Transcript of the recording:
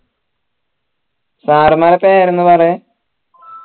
sir മാരെ പേര് ഒന്ന് പറയ്